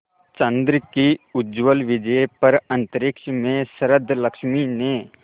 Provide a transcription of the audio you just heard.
चंद्र की उज्ज्वल विजय पर अंतरिक्ष में शरदलक्ष्मी ने